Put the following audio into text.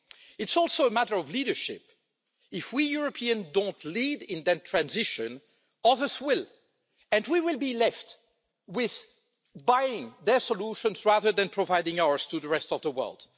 It's also a matter of leadership if we Europeans don't lead in that transition, others will, and we will be left with buying their solutions rather than providing ours to the rest of the world.